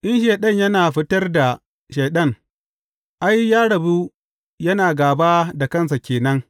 In Shaiɗan yana fitar da Shaiɗan, ai, ya rabu yana gāba da kansa ke nan.